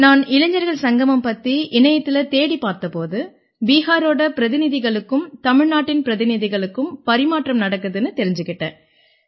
நான் இளைஞர்கள் சங்கமம் பத்தி இணையத்தில தேடிப் பார்த்த போது பிஹாரோட பிரதிநிதிகளுக்கும் தமிழ்நாட்டின் பிரதிநிதிகளுக்கும் பரிமாற்றம் நடக்குதுன்னு தெரிஞ்சுக்கிட்டேன்